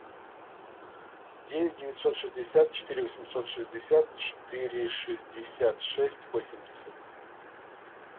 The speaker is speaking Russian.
девять девятьсот шестьдесят четыре восемьсот шестьдесят четыре шестьдесят шесть восемьдесят